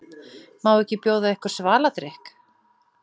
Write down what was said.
Má ekki bjóða ykkur svaladrykk?